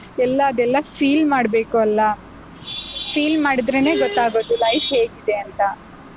ಎಲ್ಲಾ ಅದೆಲ್ಲಾ feel ಮಾಡ್ಬೇಕು ಅಲ್ಲಾ? Feel ಮಾಡಿದ್ರೇನೇ ಗೊತ್ತಾಗೋದು life ಹೇಗಿದೆ ಅಂತ.